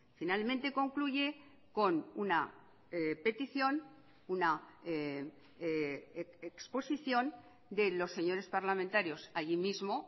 finalmente concluye con una petición una exposición de los señores parlamentarios allí mismo